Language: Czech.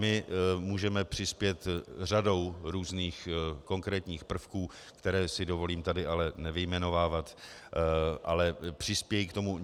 My můžeme přispět řadou různých konkrétních prvků, které si dovolím tady ale nevyjmenovávat, ale přispějí k tomu.